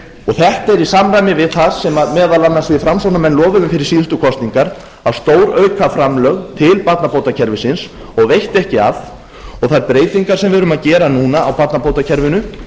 þetta er í samræmi við það sem meðal annars við framsóknarmenn lofuðum fyrir síðustu kosningar að stórauka framlög til barnabótakerfisins og veitti ekki af og þær breytingar sem við erum að gera núna á barnabótakerfinu